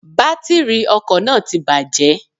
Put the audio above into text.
Bátìrì ọkò náà ti bàjé